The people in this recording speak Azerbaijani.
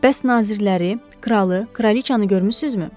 Bəs nazirləri, kralı, kraliçanı görmüsünüzmü?